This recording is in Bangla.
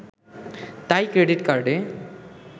তাই ক্রেডিট কার্ডে